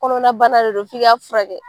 Kɔnɔna bana de do f'i ka furakɛ.